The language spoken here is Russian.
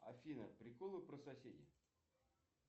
афина приколы про соседей